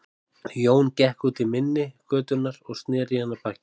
Jón gekk út í mynni götunnar og sneri í hana baki.